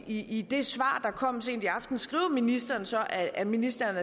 i det svar der kom sent i aftes skriver ministeren så at ministeren